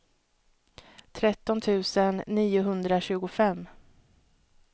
tretton tusen niohundratjugofem